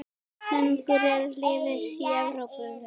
Langar engu liði í Evrópu?